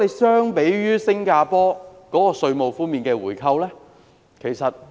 相比之下，新加坡提供的稅務回扣非常吸引。